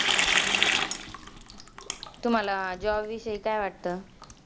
तुम्हाला job विषयी काय वाटतं?